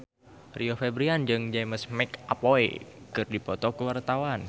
Rio Febrian jeung James McAvoy keur dipoto ku wartawan